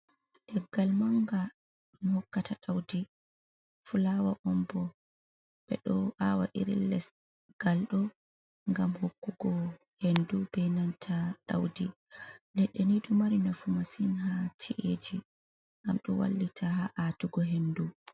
Leggal manga ɗum hokkata ɗaudi fulawa on bo. Ɓeɗo awa iri lesgal ɗo ngam hokkugo hendu be nanta ɗaudi. Leɗɗe ni ɗo mari nafu masin ha chi’eji ngam ɗo wallita ha atugo hendu.